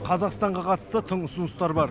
қазақстанға қатысты тың ұсыныстар бар